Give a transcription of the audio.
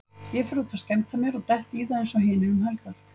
Ég fer út að skemmta mér og dett í það eins og hinir um helgar.